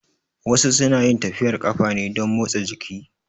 Wasu su na yin tafiyar ƙafa ne don motsa jiki